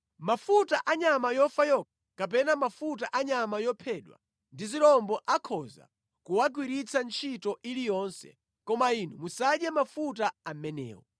Mafuta a nyama yofa yokha, kapena mafuta a nyama yophedwa ndi zirombo akhoza kuwagwiritsa ntchito iliyonse, koma inu musadye mafuta amenewo.